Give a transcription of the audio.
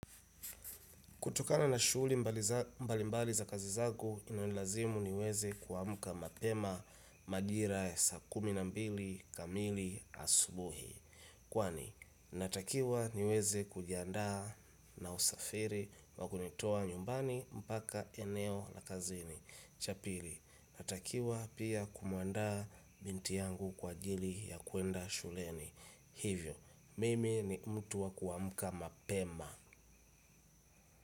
Kutokana na shuguli mbali mbali za kazi zangu, inanilazimu niweze kuamka mapema majira ya saa kumi na mbili kamili asubuhi. Kwani, natakiwa niweze kujiandaa na usafiri wa kunitoa nyumbani mpaka eneo la kazini. Cha pili, natakiwa pia kumuanda binti yangu kwa ajili ya kuenda shuleni. Hivyo, mimi ni mtu wa kuamka mapema.